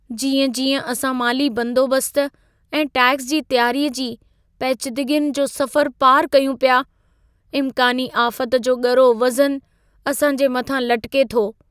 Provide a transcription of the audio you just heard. जीअं-जीअं असां माली बंदोबस्त ऐं टैक्स जी तयारीअ जी पेचीदगियुनि जो सफ़रु पारि कयूं पिया, इम्कानी आफ़त जो ॻरो वजऩु असां जे मथां लटिके थो।